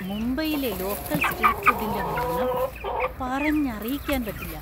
മുംബൈയിലെ local street ഫുഡിന്‍റെ മണം പറഞ്ഞറിയിക്കാൻ പറ്റില്ല .